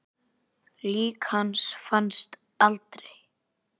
Lík hans fannst aldrei.